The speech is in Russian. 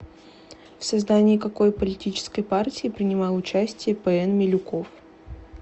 в создании какой политической партии принимал участие п н милюков